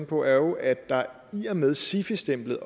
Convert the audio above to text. på er jo at der med sifi stemplet